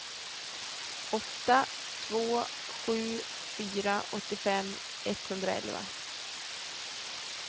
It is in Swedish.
åtta två sju fyra åttiofem etthundraelva